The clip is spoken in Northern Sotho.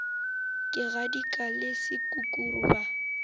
ge kgadika le sekukuru ba